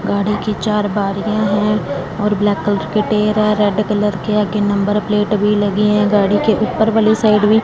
गाड़ी की चार बारिया है और ब्लैक कलर के टेर है रेड कलर के आगे नंबर प्लेट भी लगी है गाड़ी के ऊपर वाली साइड भी --